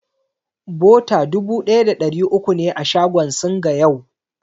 Bota dubu ɗaya da ɗari uku ne a shagon Singa yau.